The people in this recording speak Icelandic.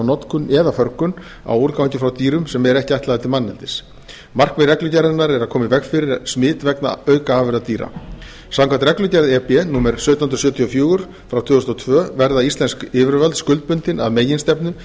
notkun eða förgun á úrgangi frá dýrum sem ekki er ætlaður til manneldis markmið reglugerðarinnar er að koma í veg fyrir smit vegna aukaafurða dýra samkvæmt reglugerð e b númer sautján hundruð sjötíu og fjögur tvö þúsund og tvö verða íslensk yfirvöld skuldbundin að meginstefnu